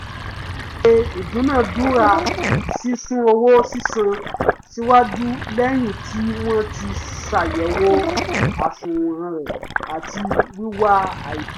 ó ṣe ìdúnádúrà sísún owó sísan síwájú lẹ́yìn tí wọ́n ti ṣàyẹ̀wò àsùnwọ̀n rẹ̀ àti wíwá àìtó